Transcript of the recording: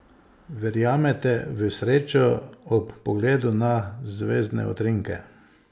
Verjamete v srečo ob pogledu na zvezdne utrinke?